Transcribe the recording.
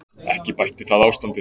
Ekki bætti það ástandið.